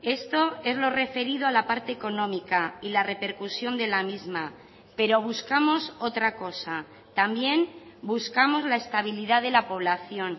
esto es lo referido a la parte económica y la repercusión de la misma pero buscamos otra cosa también buscamos la estabilidad de la población